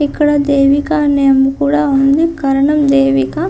ఇక్కడ దేవిక అనే ఆమె కూడా ఉంది. కరణం దేవిక.